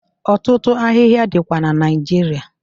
Ọtụtụ ahịhịa dịkwa na Naịjirịa.